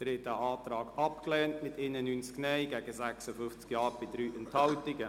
Sie haben den Antrag abgelehnt mit 91 Nein- gegen 56 Ja-Stimmen bei 3 Enthaltungen.